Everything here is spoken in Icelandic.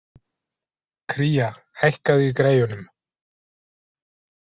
Kría, hækkaðu í græjunum.